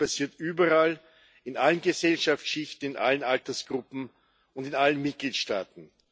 Es passiert überall, in allen Gesellschaftsschichten, in allen Altersgruppen und in allen Mitgliedstaaten.